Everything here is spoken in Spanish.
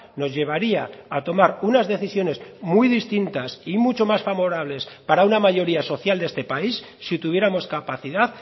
nos llevaría a tomar unas decisiones muy distintas y mucho más favorables para una mayoría social de este país si tuviéramos capacidad